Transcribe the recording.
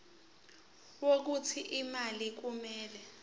wokuthi imali kumele